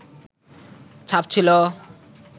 ছাপ ছিল